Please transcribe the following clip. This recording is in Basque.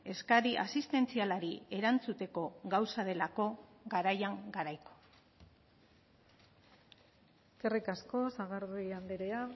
eskari asistentzialari erantzuteko gauza delako garaian garaiko eskerrik asko sagardui andrea